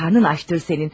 Karnın açdır sənin.